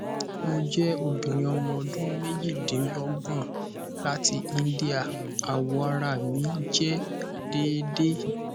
mo jẹ obinrin ọmọ ọdun mejidinlogbon lati india awọ ara mi jẹ deede